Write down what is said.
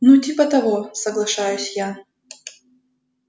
ну типа того соглашаюсь я